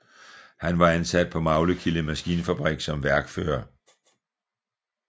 Han var ansat på Maglekilde Maskinfabrik som værkfører